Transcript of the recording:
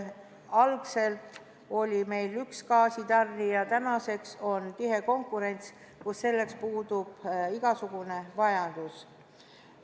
Algselt oli meil üks gaasitarnija, kuid tänaseks on konkurents tihenenud ja selleks puudub igasugune vajadus.